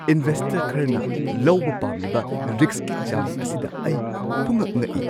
Investor ꯈꯔꯅ ꯂꯧꯕ ꯄꯥꯝꯂꯤꯕ ꯔꯤꯁꯛꯀꯤ ꯆꯥꯡ ꯑꯁꯤꯗ ꯑꯩ ꯄꯨꯡꯉꯛ-ꯉꯛꯏ꯫